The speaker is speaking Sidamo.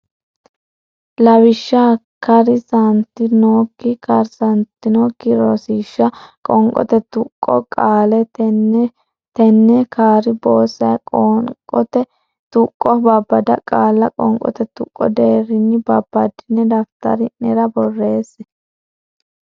Lawishsha kar san tan nok karsantannokki Rosiishsha Qoonqote Tuqqo Qaale ten shil ten nin kaar boo say Qoonote Tuqqo Babbada qaalla qoonqote tuqqo deerrinni babbaddine daftari nera borreesse.